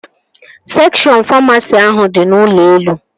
Sekshọn famasi ahụ dị n'ụlọ elu